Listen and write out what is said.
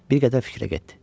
Bir qədər fikrə getdi.